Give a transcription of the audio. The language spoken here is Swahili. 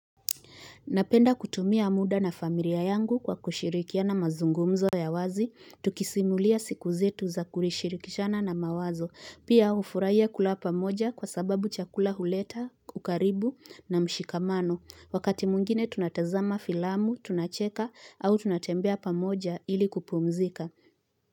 Napenda kutumia muda na familia yangu kwa kushirikia na mazungumzo ya wazi, tukisimulia siku zetu za kulishirikishana na mawazo. Pia hufurahia kula pamoja kwa sababu chakula huleta, ukaribu na mshikamano. Wakati mwingine tunatazama filamu, tunacheka au tunatembea pamoja ili kupumzika.